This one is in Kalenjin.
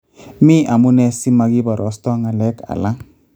Mi amune si makibarasto ngalek alak